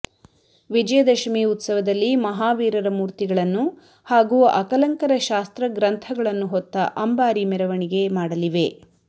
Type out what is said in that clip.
ವಿಜಯದಶಮಿ ಉತ್ಸವದಲ್ಲಿ ಮಹಾವೀರರ ಮೂರ್ತಿಗಳನ್ನು ಹಾಗೂ ಅಕಲಂಕರ ಶಾಸ್ತ್ರ ಗ್ರಂಥಗಳನ್ನು ಹೊತ್ತ ಅಂಬಾರಿ ಮೆರವಣಿಗೆ ಮಾಡಲಿವೆ